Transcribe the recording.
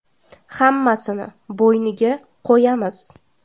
Hammasini bo‘yniga qo‘yamiz.